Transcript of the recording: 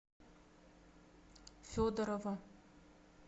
федорова